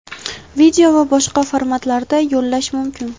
video va boshqa formatlarda yo‘llash mumkin.